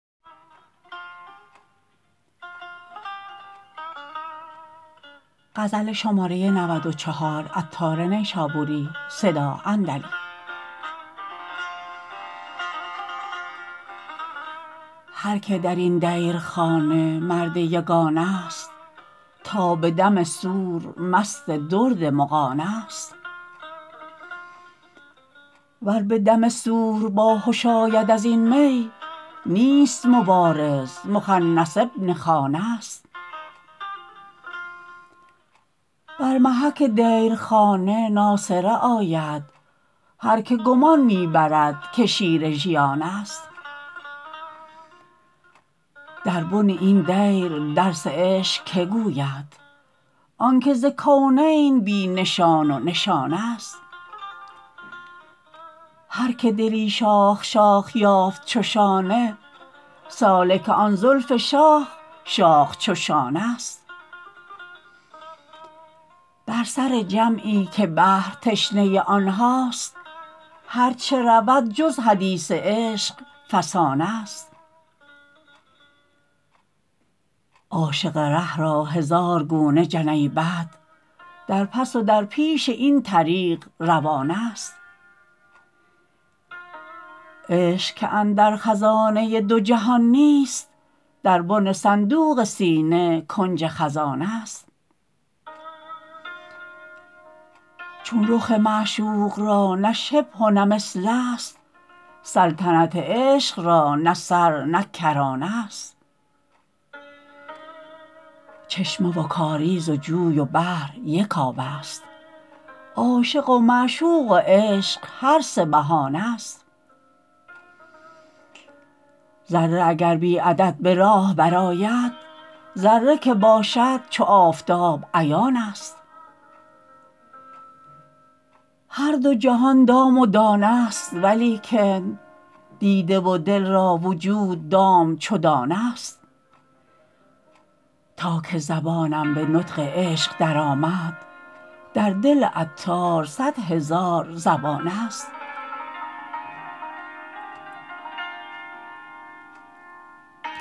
هر که درین دیرخانه مرد یگانه است تا به دم صور مست درد مغانه است ور به دم صور باهش آید ازین می نیست مبارز مخنث بن خانه است بر محک دیرخانه ناسره آید هر که گمان می برد که شیر ژیان است در بن این دیر درس عشق که گوید آنکه ز کونین بی نشان و نشانه است هر که دلی شاخ شاخ یافت چو شانه سالک آن زلف شاخ شاخ چو شانه است بر سر جمعی که بحر تشنه آنهاست هرچه رود جز حدیث عشق فسانه است عاشق ره را هزار گونه جنیبت در پس و در پیش این طریق روانه است عشق که اندر خزانه دو جهان نیست در بن صندوق سینه کنج خزانه است چون رخ معشوق را نه شبه و نه مثل است سلطنت عشق را نه سر نه کرانه است چشمه و کاریز و جوی و بحر یک آب است عاشق و معشوق و عشق هر سه بهانه است ذره اگر بی عدد به راه برآید ذره که باشد چو آفتاب عیان است هر دو جهان دام و دانه است ولیکن دیده و دل را وجود دام چو دانه است تا که زبانم به نطق عشق درآمد در دل عطار صد هزار زبانه است